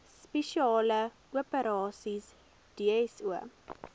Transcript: spesiale operasies dso